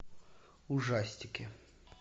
ужастики